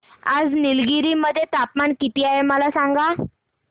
आज निलगिरी मध्ये तापमान किती आहे मला सांगा